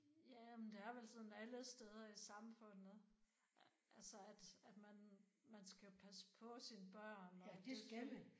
Ja men det er vel sådan alle steder i samfundet altså at at man man skal jo passe på sine børn og det selvfølgelig